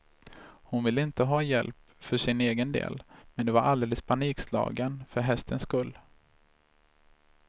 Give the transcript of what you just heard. Hon ville inte ha hjälp för sin egen del, men var alldeles panikslagen för hästens skull.